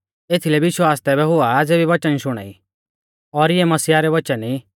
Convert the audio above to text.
एथीलै विश्वास तैबै हुआ ज़ेबी वचन शुणाई और इऐ मसीहा रै वचन ई